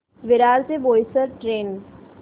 विरार ते बोईसर ट्रेन